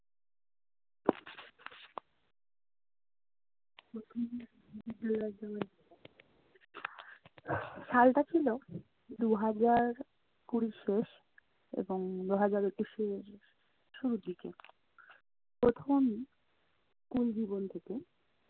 সালটা ছিলো দু'হাজার কুড়ির শেষ এবং দু'হাজার একুশের শুরুর দিকে। প্রথম school জীবন থেকে।